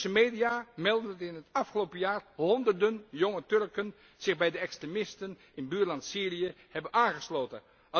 Turkse media meldden dat in het afgelopen jaar honderden jonge Turken zich bij de extremisten in buurland Syrië hebben aangesloten.